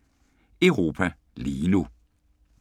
04:03: Europa lige nu *